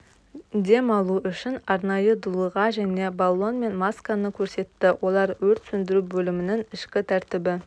дем алу үшін арнайы дулыға және баллонмен масканы көрсетті олар өрт сөндіру бөлімінің ішкі тәртібі